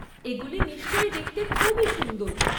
এগুলি নিশ্চয়ই দেখতে খুবই সুন্দর।